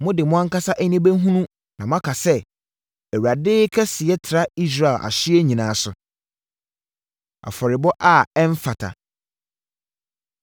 Mode mo ankasa ani bɛhunu na moaka sɛ, ‘ Awurade kɛseyɛ tra Israel ahyeɛ nyinaa so!’ Afɔrebɔ A Ɛmfata